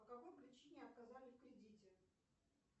по какой причине отказали в кредите